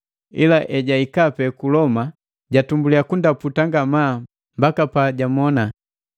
ila ejahika pe ku Loma, jatumbuliya kundaputa ngamaa mpaka pajamona.